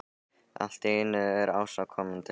Allt í einu er Ása komin til hans.